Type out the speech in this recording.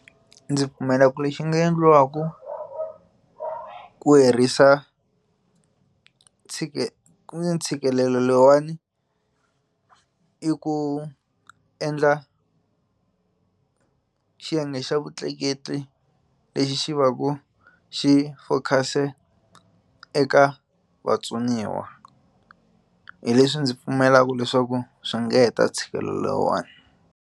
Ndzi pfumela ku lexi nga endliwaka ku herisa ntshikelelo lowuwani i ku endla xiyenge xa vutleketli lexi xi va ku xi focus-e eka vatsoniwa hi leswi ndzi pfumelaka leswaku swi nga heta ntshikelelo lowuwani.